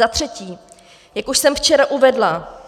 Za třetí, jak už jsem včera uvedla,